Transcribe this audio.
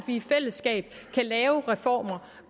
i fællesskab kan lave reformer